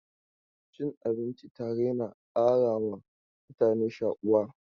Cin abinci tare na ƙarawa mutane shakuwa.